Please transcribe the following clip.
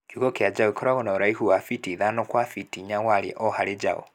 Kiugũ kĩa njaũ gĩkorwo na ũraihu wa fiti ithano gwa fiti inya warie o harĩ njaũ